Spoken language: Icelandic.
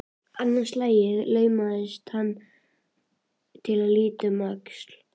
Annað slagið laumaðist hann til að líta um öxl.